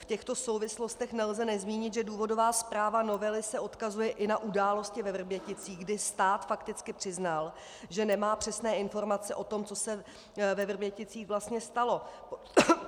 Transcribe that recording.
V těchto souvislostech nelze nezmínit, že důvodová zpráva novely se odkazuje i na události ve Vrběticích, kdy stát fakticky přiznal, že nemá přesné informace o tom, co se ve Vrběticích vlastně stalo.